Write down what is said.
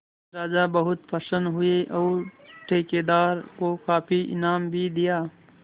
राजा बहुत प्रसन्न हुए और ठेकेदार को काफी इनाम भी दिया